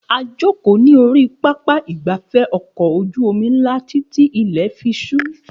A jókòó ní orí pápá ìgbafẹ́ ọkọ̀ ojú omi ńlá títí tí ilè fi súú